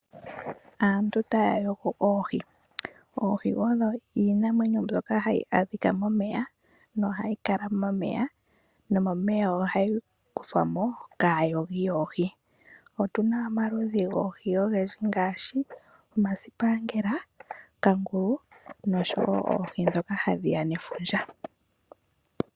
Aantu taya yogo oohi. Oohi odho iinamwenyo mbyoka hayi adhika momeya nohayi kala momeya nomomeya ohayi kuthwa mo kaayogi yoohi. Otuna omaludhi goohi ogendji ngaashi omasipangela, kangulu noohi ndhoka hadhiya nefundja.